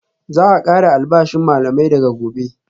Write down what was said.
Za a kara albashin malamai daga Gobe